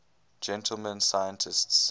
gentleman scientists